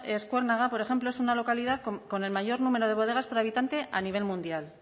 eskuernaga por ejemplo es una localidad con el mayor número de bodegas por habitante a nivel mundial